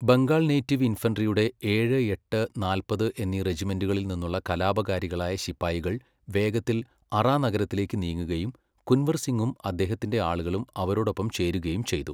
Bengal native ഇൻഫൻട്രിയുടെ ഏഴ്, എട്ട്, നാല്പത് എന്നീ റെജിമെൻ്റുകളിൽ നിന്നുള്ള കലാപകാരികളായ ശിപ്പായികൾ വേഗത്തിൽ അറാ നഗരത്തിലേക്ക് നീങ്ങുകയും കുൻവർ സിങ്ങും അദ്ദേഹത്തിന്റെ ആളുകളും അവരോടൊപ്പം ചേരുകയും ചെയ്തു.